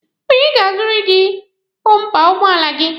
Onye ga-aruziri gị bọmpa ụgbọala gị?